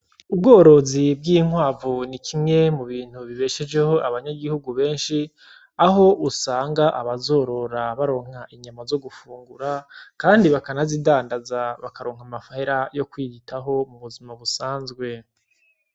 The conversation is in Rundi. Ubworozi bw'inkwavu n'ikimwe mu bintu bibeshejeho abanyagihugu benshi aho usanga abazorora baronka inyama zo gufungura kandi bakanazidandaza bakaronka amahera yo kwiyitaho m'ubuzima busanzwe.